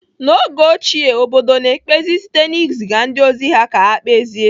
N'oge ochie, obodo na-ekpezi site na iziga ndị ozi ka ha kpezie.